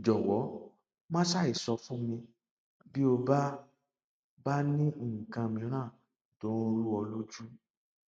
jọwọ má ṣàìsọ fún mi bí o bá ní nǹkan mìíràn tó ń rú ọ lójú